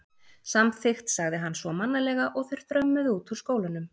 Samþykkt sagði hann svo mannalega og þeir þrömmuðu út úr skólanum.